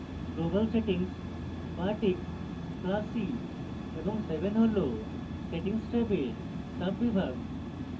global settings bartik classy এবং seven হল settings ট্যাবের সাব বিভাগ